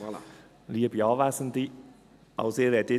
Kommissionssprecher der SiK-Minderheit.